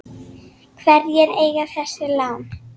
Hverjir eiga þessi lán?